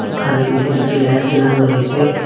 দোকানের ভিতরে একটি লাইট জ্বালানো রয়েছে।